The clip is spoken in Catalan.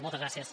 moltes gràcies